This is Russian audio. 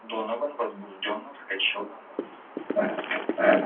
донован возбуждённо вскочил на ноги